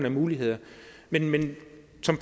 af muligheder men men